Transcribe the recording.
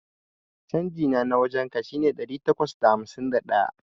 Changina na wajan ka shine ɗari takwas da hamsin da ɗaya.